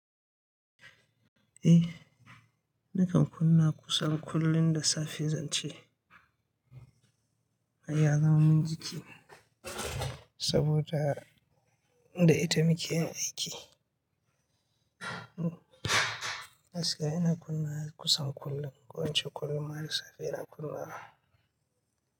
Eh nakan kunna kusan kullum da safe zan ce ai ya zama min jiki saboda da ita muke yin aiki. Gsky ina kunnawa kusan kullum, ko ince kullum ma da safe ina kunnawa.